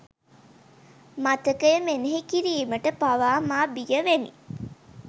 මතකය මෙනෙහි කිරීමට පවා මා බියවෙමි